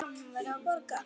Já, hún verður að borga.